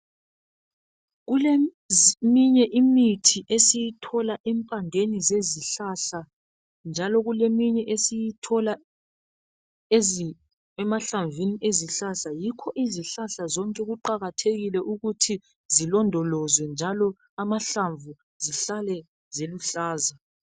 Kuleminye imithi esiyithola empandeni zesihlahla njalo kuleminye esiyithola emahlamvini ezihlahla yikho izohlahla zonke kuqakathekile ukuthi zilondolozwe njalo amahlamvu zihlale ziluhlaza